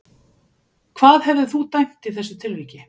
Hvað hefðir þú dæmt í þessu tilviki?